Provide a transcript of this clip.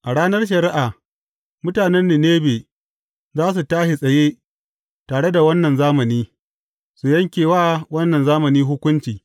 A ranar shari’a, mutanen Ninebe za su tashi tsaye tare da wannan zamani, su yanke wa wannan zamani hukunci.